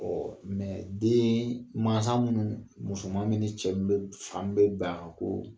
Ɔ den mansa minnu musoman min ni cɛ min bɛ fa min ban ko